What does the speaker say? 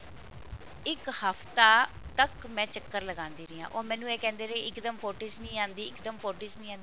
ਇੱਕ ਹਫਤਾ ਤੱਕ ਮੈਂ ਚੱਕਰ ਲਗਾਂਦੀ ਰਹੀ ਹਾਂ ਉਹ ਮੈਨੂੰ ਇਹ ਕਹਿੰਦੇ ਰਹੇ ਇੱਕ ਦਮ footage ਨਹੀਂ ਆਂਦੀ ਇੱਕ ਦਮ footage ਨਹੀਂ ਆਂਦੀ